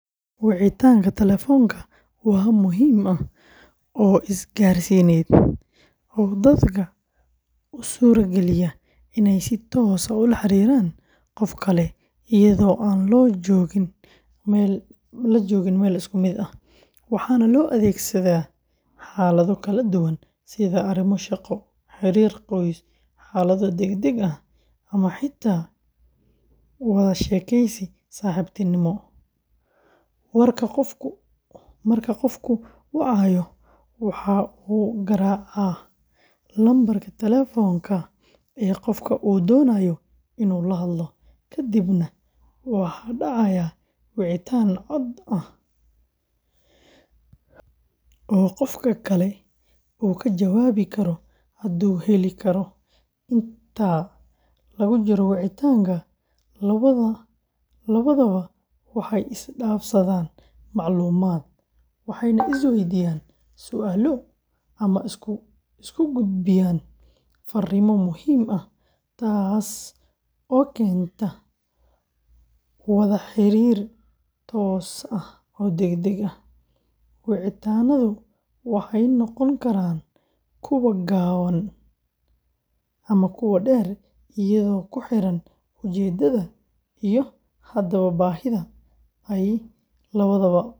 Wicitaanka telefoonka waa hab muhiim ah oo isgaarsiineed oo dadka u suurageliya inay si toos ah ula xiriiraan qof kale iyada oo aan la joogin meel isku mid ah, waxaana loo adeegsadaa xaalado kala duwan sida arrimo shaqo, xiriir qoys, xaalado degdeg ah ama xitaa wada sheekeysi saaxiibtinimo. Marka qofku wacayo, waxa uu garaacaa lambarka telefoonka ee qofka uu doonayo inuu la hadlo, ka dibna waxaa dhacaya wicitaan cod ah oo qofka kale uu ka jawaabi karo hadduu heli karo. Inta lagu jiro wicitaanka, labadaba waxay isdhaafsadaan macluumaad, waxayna isweydiiyaan su’aalo ama isku gudbiyaan fariimo muhiim ah, taas oo keenta wada xiriir toos ah oo degdeg ah. Wicitaannadu waxay noqon karaan kuwo gaaban ama dheer iyadoo ku xiran ujeeddada iyo hadba baahida ay labada qof u qabaan wada hadalkaas.